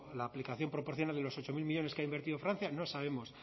la aplicación proporciona de los ocho mil millónes que ha invertido francia no sabemos